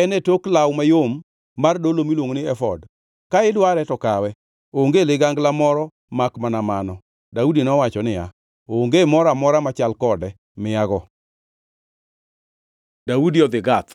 en e tok law mayom mar dolo miluongo ni efod. Ka idware to kawe, onge ligangla moro makmana mano.” Daudi nowacho niya, “Onge moro amora machal kode; miyago.” Daudi odhi Gath